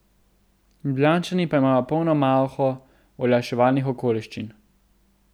Ljubljančani pa imajo polno malho olajševalnih okoliščin.